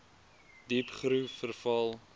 diep groef verval